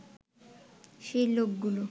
সেই লোকগুলো